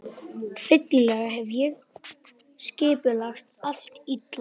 Hryllilega hef ég skipulagt allt illa.